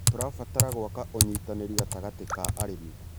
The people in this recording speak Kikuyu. Tũrabatara gwaka ũnyitanĩri gatagatĩ ka arĩmi.